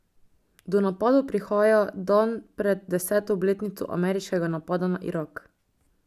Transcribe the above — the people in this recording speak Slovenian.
Do napadov prihaja dan pred deseto obletnico ameriškega napada na Irak.